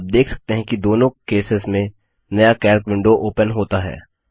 आप देख सकते हैं कि दोनों केसेस में नया कैल्क विंडो ओपन होता है